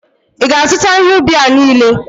ị ga-azụta ihe ubi a niile?